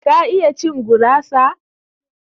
ka iya cin gurasa?